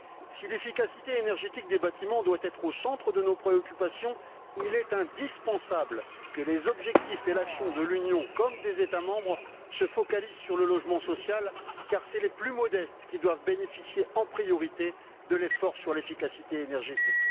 Si l'efficacité énergétique des bâtiments doit être au centre de nos préoccupations, il est indispensable que les objectifs et l'action de l'Union, comme des États membres se focalisent sur le logement social car ce sont les plus modestes qui doivent bénéficier, en priorité, de l'effort sur l'efficacité énergétique.